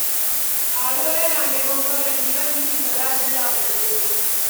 Ado yana neman makaɗi don bikin da za su yi a Gombe.